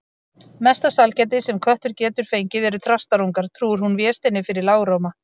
Mesta sælgæti sem köttur getur fengið eru þrastarungar, trúir hún Vésteini fyrir lágróma.